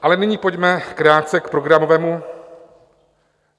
Ale nyní pojďme krátce k programovému...